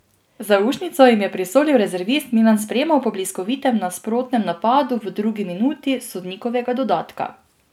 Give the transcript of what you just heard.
Zaušnico jim je prisolil rezervist Milan Spremo po bliskovitem nasprotnem napadu v drugi minuti sodnikovega dodatka.